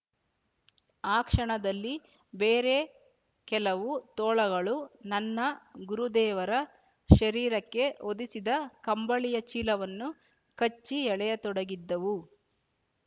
ಆ ಕ್ಷಣದಲ್ಲಿ ಬೇರೆ ಕೆಲವು ತೋಳಗಳು ನನ್ನ ಗುರುದೇವರ ಶರೀರಕ್ಕೆ ಹೊದಿಸಿದ್ದ ಕಂಬಳಿಯ ಚೀಲವನ್ನು ಕಚ್ಚಿ ಎಳೆಯ ತೊಡಗಿದ್ದವು